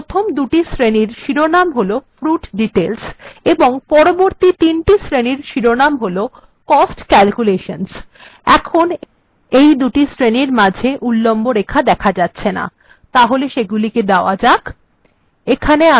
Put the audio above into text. তাহলে প্রথম দুটি শ্রেনীর শিরোনাম হল fruit details এবং পরবর্তী তিনটি শ্রেনীর শিরোনাম হল cost calculations এখন এই দুটি শ্রেনীর মাঝে উল্লম্ব রেখাগুলি দেখা যাচ্ছে না তাহলে সেটি করা যাক